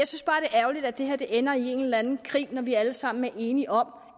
er ærgerligt at det her ender i en eller anden krig når vi alle sammen er enige om